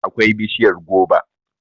akwai bishiyar goba